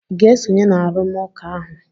Ị ga-esonye na arụmụka ahụ?